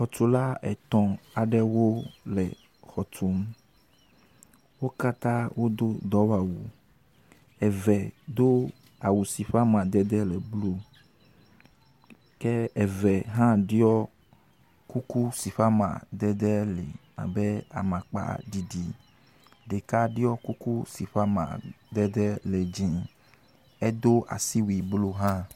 Xɔtula etɔ̃ aɖewo le xɔ tum. Wo katã wodo dɔwɔwu. Eve do awu si ƒe amadede le blu ke eve hã ɖɔ kuku si ƒe amadede li abe amakpaɖiɖi. Ɖeka ɖɔ kuku si ƒe amadede le dzi. edo asiwui blu hã.